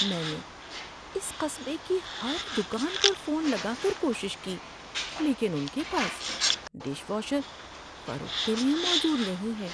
میں نے اس قصبے کی ہر دکان پر فون لگا کر کوشش کی، لیکن ان کے پاس ڈش واشر فروخت کے لیے موجود نہیں ہے۔